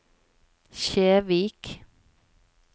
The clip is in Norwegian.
Kjevik